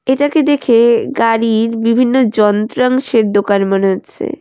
এটাকে দেখে গাড়ির বিভিন্ন যন্ত্রাংশের দোকান মনে হচ্ছে।